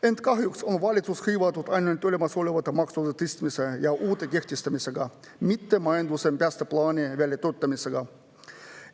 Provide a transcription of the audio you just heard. Ent kahjuks on valitsus hõivatud ainult olemasolevate maksude tõstmise ja uute kehtestamisega, mitte majanduse päästeplaani väljatöötamisega.